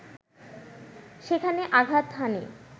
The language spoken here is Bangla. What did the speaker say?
সেখানে আঘাত হানে